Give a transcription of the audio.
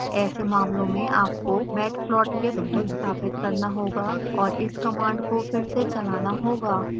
ऐसे मामलों में आपको matplotlib संस्थापित करना होगा और इस कमांड को फिर से चलाना होगा